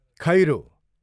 खैरो